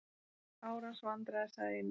Árans vandræði sagði Indverjinn.